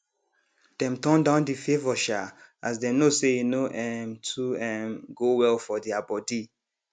dem turn down the favour um as dem know say e no um too um go well for their body